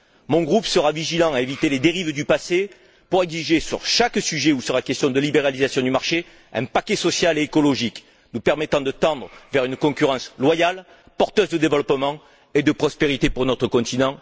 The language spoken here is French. Mon groupe sera vigilant pour éviter les dérives du passé et exigera sur chaque sujet où il sera question de libéralisation du marché un paquet social et écologique nous permettant de tendre vers une concurrence loyale, porteuse de développement et de prospérité pour notre continent.